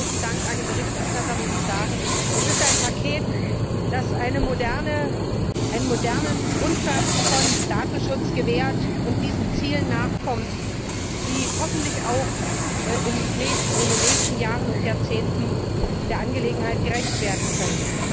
Und mit großem Dank an den Berichterstatter muss ich sagen, es ist ein Paket, das einen modernen Grundsatz von Datenschutz gewährleistet und diesen Zielen nachkommt, die hoffentlich auch in den nächsten Jahren und Jahrzehnten der Angelegenheit gerecht werden können.